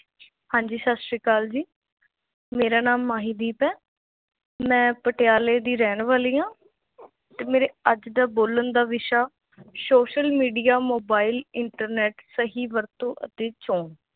ਹਾਂਜੀ ਸਤਿ ਸ੍ਰੀ ਅਕਾਲ ਜੀ ਮੇਰਾ ਨਾਂ ਮਾਹੀਦੀਪ ਹੈ ਮੈਂ ਪਟਿਆਲੇ ਦੀ ਰਹਿਣ ਵਾਲੀ ਹਾਂ ਤੇ ਮੇਰੇ ਅੱਜ ਦਾ ਬੋਲਣ ਦਾ ਵਿਸ਼ਾ social media, mobile, internet ਸਹੀ ਵਰਤੋਂ ਅਤੇ ਚੋਣ